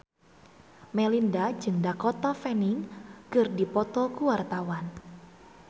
Melinda jeung Dakota Fanning keur dipoto ku wartawan